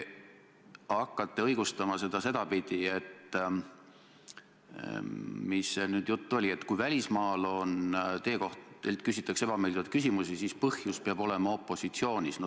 Ja mis jutt see nüüd oli, et kui välismaal teilt küsitakse ebameeldivaid küsimusi, siis põhjus peab olema opositsioonis?